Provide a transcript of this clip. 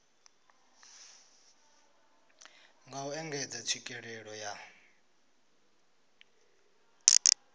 nga u engedza tswikelelo ya